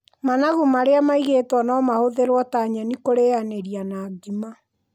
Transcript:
Managu marĩa maigĩtwo no mahũthĩrwo ta nyeni kũrĩanĩria na ngima.